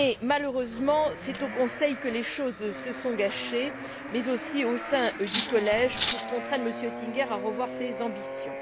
Malheureusement, c'est au Conseil que les choses se sont gâtées, mais aussi au sein du collège pour contraindre M. Oettinger à revoir ses ambitions.